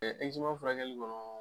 furakɛli kɔnɔ